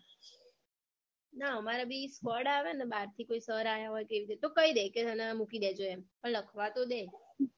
ના અમારે બી skoard આવે ને બારથી કોઈ sir આયા હોય કે હું તો કઈ દે કે હેને મૂકી દેજો એમ પણ લખવાં તો દે